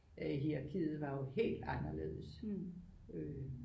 Hierakiet var jo helt anderledes